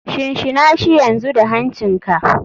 Shinshinashi yanzu da hancin ka.